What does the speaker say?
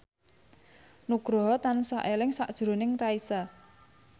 Nugroho tansah eling sakjroning Raisa